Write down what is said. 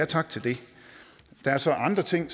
tak til det der er så andre ting